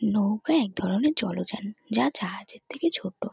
নৌকা এক ধরনের জলযান যা জাহাজের থেকে ছোট।